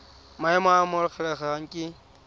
maemo a a amogelesegang ke